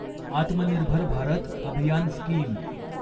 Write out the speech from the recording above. आत्मनिर्भर भारत अभियान स्कीम